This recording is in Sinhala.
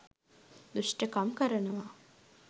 දුෂ්ටකම් කරනවා.